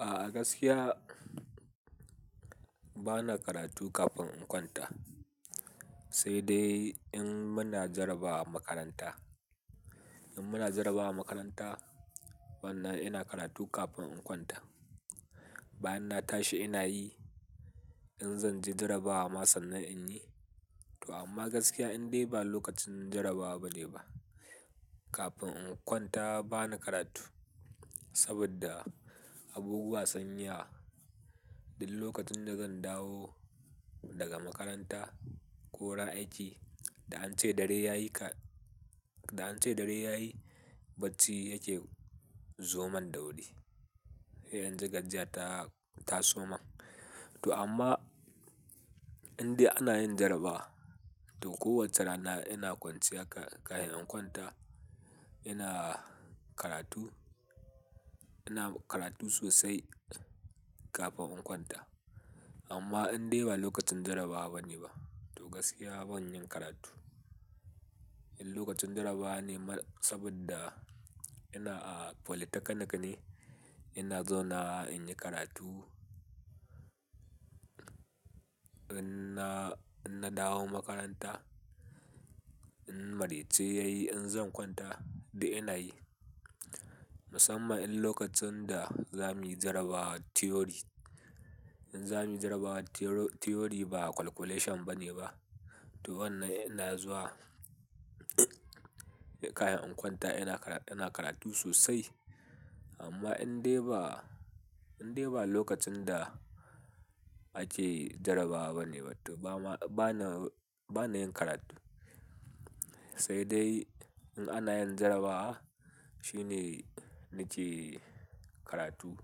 A'a gaskiya bana karatu kafin in kwanta, sai dai in muna jarabawa a makaranta. In muna jarabawa a makaranta, wannan ina karatu kafin in kwanta. Bayan na tashi ina yi, in zan ji jarabawa masa'n nan in yi. To amma gaskiya indai ba lokacin jarabawa bane ba. Kafin in kwanta bana karatu saboda abubuwa sunyi yawa duk lokacin da zan dawo daga makaranta ko ran aiki, da an ce dare yayi ka-- da an ce dare yayi, bacci yake zoman dauri. Zan ji gajiya ta, ta soma. To amma indai ana yin jarabawa, to kowacce rana ina kwanciya ka-kahin in kwanta, ina karatu, ina karatu sosai kafin in kwanta. Amma indai ba lokacin jarabawa bane ba, to gaskiya ban yin karatu. In lokacin jarabawa ne ma saboda ina a polytechnic ne, ina zauna in yi karatu. In na, in na dawo makaranta, in maraice yayi in zan kwanta dai ina yi. Musamman in lokacin da zamuyi jarabawar theory. In zamuyi jarabawar theor-theory ba calculation bane ba, to wannan ina zuwa kahin in kwanta ina kara-- ina karatu sosai. Amma indai ba, indai ba lokacin da ake jarabawa bane ba, to bana, bana yin karatu. Sai dai in ana yin jarabawa, shine nike karatu.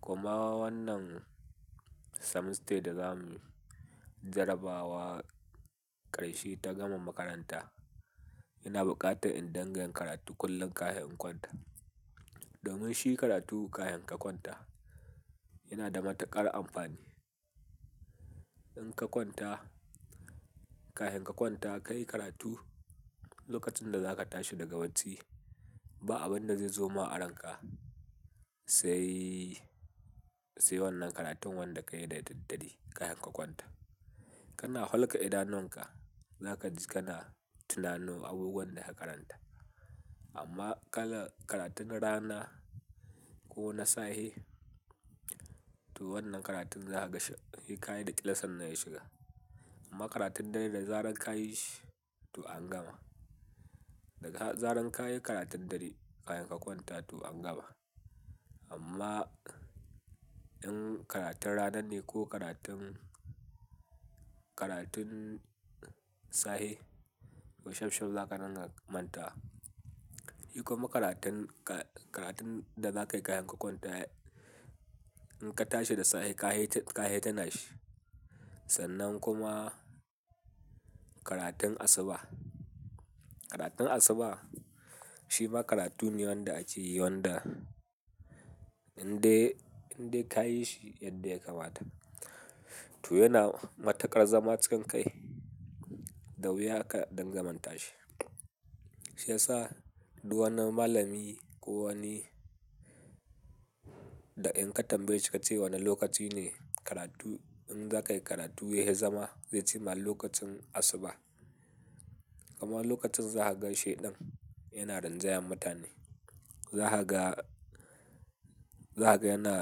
Kuma wannan semester da zamuyi jarabawa karshe ta gama makaranta, ina buƙatar in dunga karatu kullum kahin in kwanta. Domin shi karatu kayan ka kwanta yana da matuƙar amfani. In ka kwanta kahinn ka kwanta ka yi karatu, lokacin da za ka tashi daga bacci ba abinda zai zoma aronka sai, sai wannan karatun wanda ka yi da daddare kahin ka kwanta. Kana hulka idanuwanka, zaka ji kana tunano abubuwan da ka karanta. Amma kala-- karatun rana ko na sahe, to wannan karatun za ka ga sai kayi da ƙyal sannan ya shiga. Amma karatun dare da zarar ka yi shi to an gama. Da ka-- zarar ka yi karatun dare kahinn ka kwanta to an gama. Amma in karatun rana ne ko karatun, karatun sahe, to shaf shaf zaka ranga manta. Shi kuma karatun ka, karatun da za ka yi kahin ka kwanta in ka tashi da sahe kahi, kahi tuna shi. Sannan kuma karatun asuba. Karatun asuba shi ma karatu ne wanda ake yi wanda indai, indai ka yi shi yadda ya kamata. To yana matuƙar zama cikin kai, da wuya ka dangamanta shi. Shi yasa duk wani malami ko wani da in ka tambaye ki ka ce wane lokaci ne karatu in za ka yi karatu ya fi zama, zai ce ma lokacin asuba. Kuma lokacin za ka gan sheɗan yana rinjayen mutane. Za ka ga, za ka ga yana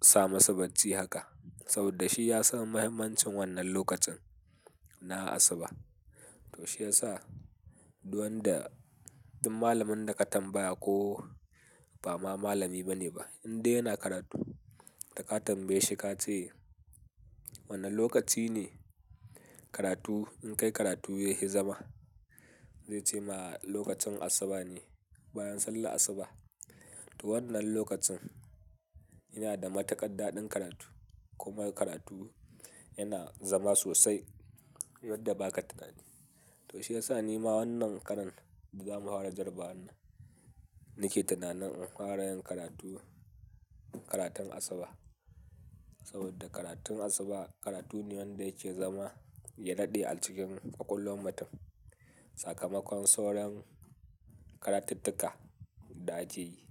sa masa bacci haka saboda shi ya san mahimmancin wannan lokacin na asuba. To shi yasa duk wanda, duk malamin da ka tambaya ko ba ma malami bane ba, indai yana karatu da ka tambaye shi ka ce wane lokaci ne karatu in kai karatu ya hi zama? Zai ce ma lokacin asuba ne bayan sallar asuba. To wannan lokacin yana da matuƙar daɗin karatu kuma karatu yana zama sosai yadda ba ka tunani. To shi yasa ni ma wannan karan da zamu hwara jarabawar nan, nike tunanin in fara yin karatu karatun asuba. Saboda karatun asuba karatu ne wanda yake zama ya daɗe a cikin ƙwaƙwalwan mutum. Sakamakon soron karatattuka da ake yi.